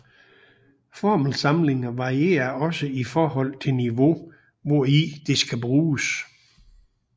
Formelsamlinger varierer også i forhold til niveau hvori det skal bruges